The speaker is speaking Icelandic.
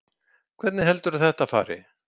Hvernig heldurðu að þetta fari?